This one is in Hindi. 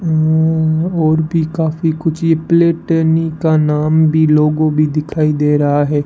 म्मम और भी काफी कुछ ये प्लेटेनी का नाम भी लोगो भी दिखाई दे रहा है।